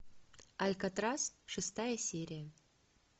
алькатрас шестая серия